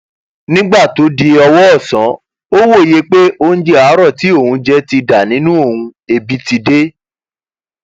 nígbà tó di ọwọ ọsán ó wòye pé oúnjẹ àárò tí òun jẹ ti dà nínú òun ẹbí ti dé